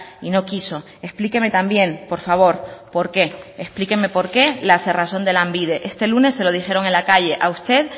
y no quiso explíqueme también por favor por qué explíqueme por qué la cerrazón de lanbide este lunes se lo dijeron en la calle a usted